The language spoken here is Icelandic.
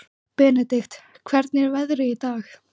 Benedikt, hvernig er veðrið í dag?